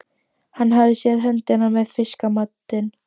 Hann hafði séð höndina með fiskamatinn.